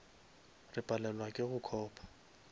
re palelwa ke go copa